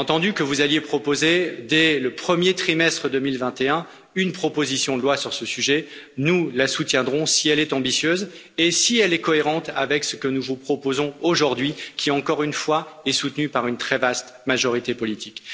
J'ai entendu que vous alliez proposer, dès le premier trimestre 2021, une proposition de loi sur ce sujet nous la soutiendrons si elle est ambitieuse et cohérente avec ce que nous vous proposons aujourd'hui et qui, encore une fois, est soutenu par une très vaste majorité politique.